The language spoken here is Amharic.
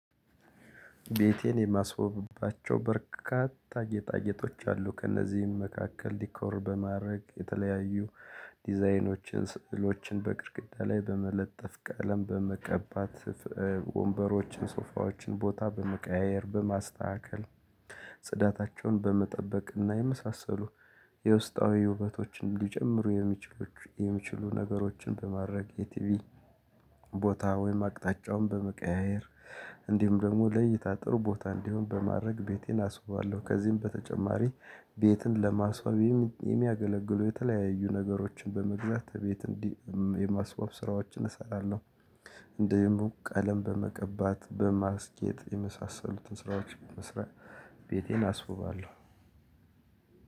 ቤቴን የማስወብባቸው በርካታ ጌጣጌጦች አሉ። ከእነዚህም መካከል ዲኮር በማድረግ የተለያዩ ዲዛይኖችን፣ ስዕሎችን፣ በቅድግዳ ላይ በመለጠፍ ቀለም በመቀባት፣ ወንበሮችን፣ ሶፋዎችን ቦታ በመቀያየር፤ በማስተካከል ጽዳታቸውን በመጠበቅና የመሳሰሉ የውስጣዊ ውበቶችን ሊጨምሩ የሚችሉ ነገሮችን በማድረግ። የቲቪ ቦታ ወይም አቅጣጫውን በመቀያየ፤ እንዲሁም ደግሞ ለይታጥሩ ቦታ እንዲሆን በማድረግ። ቤቴን አስበዋለሁ ከዚህም በተጨማሪ ቤትን ለማስዋቤ የሚ የሚያገለግለው የተለያዩ ነገሮችን በመግዛት ቤት እንዲህ የማስወግዘብ ስራዎችን እሰራለሁ። እንዲውም ቦታ ቀለም በመቀባት በማስጌጥ የመሳሰሉትን ስራዎች መስራት ቤቴን አስውባለሁ።